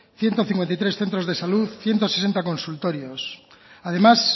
ciento cincuenta y tres centros de salud ciento sesenta consultorios además